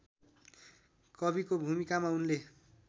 कविको भूमिकामा उनले